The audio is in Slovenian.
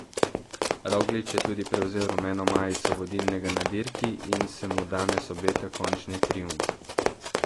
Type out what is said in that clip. Roglič je tudi prevzel rumeno majico vodilnega na dirki in se mu danes obeta končni triumf.